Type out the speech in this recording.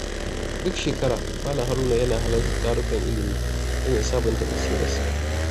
Duk shekara, Malam Haruna yana halartar tarukan ilimi don ya sabunta basirarsa.